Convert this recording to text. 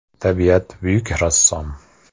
Tabiat buyuk rassom!